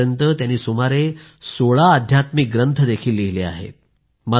आतापर्यंत त्यांनी सुमारे 16 आध्यात्मिक ग्रंथ देखील लिहिले आहेत